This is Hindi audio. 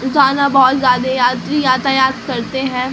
बहोत ज्यादा यात्री यातायात करते है।